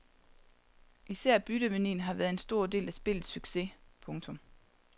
Især byttemanien har været en stor del af spillets succes. punktum